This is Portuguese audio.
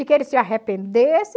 E que ele se arrependesse.